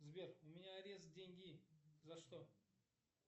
сбер у меня арест деньги за что